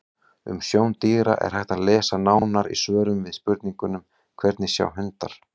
Um sjón dýra er hægt að lesa nánar í svörum við spurningunum: Hvernig sjá hundar?